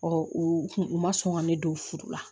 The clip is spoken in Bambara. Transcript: u kun u ma sɔn ka ne don furu la